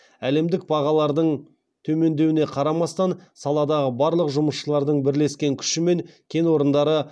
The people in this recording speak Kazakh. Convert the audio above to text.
әлемдік бағалардың төмендеуіне қарамастан саладағы барлық жұмысшылардың бірлескен күшімен кен орындары